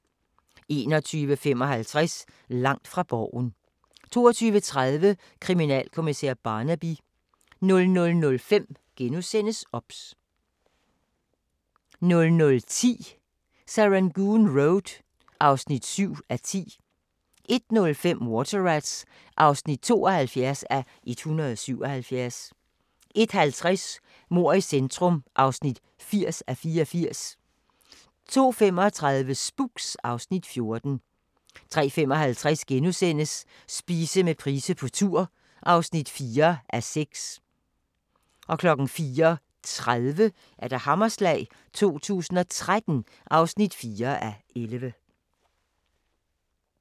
21:55: Langt fra Borgen 22:30: Kriminalkommissær Barnaby 00:05: OBS * 00:10: Serangoon Road (7:10) 01:05: Water Rats (72:177) 01:50: Mord i centrum (80:84) 02:35: Spooks (Afs. 14) 03:55: Spise med Price på tur (4:6)* 04:30: Hammerslag 2013 (4:11)*